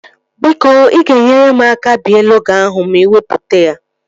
Biko ị ga-nyere m aka bee logo ahụ ma iwepụta ya